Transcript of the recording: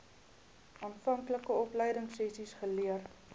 aanvanklike opleidingsessies geleer